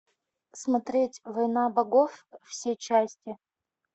смотреть война богов все части